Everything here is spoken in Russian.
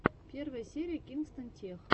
первая серия кингстон тех